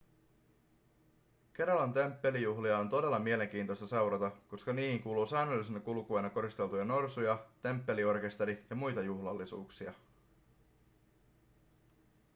keralan temppelijuhlia on todella mielenkiintoista seurata koska niihin kuuluu säännöllisenä kulkueena koristeltuja norsuja temppeliorkesteri ja muita juhlallisuuksia